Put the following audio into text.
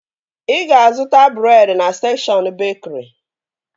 Ị ga-zụta breed na sekshọn bekri